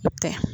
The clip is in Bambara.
I tɛ